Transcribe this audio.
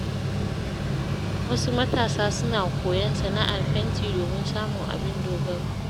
Wasu matasa suna koyon sana’ar fenti domin samun abin dogaro.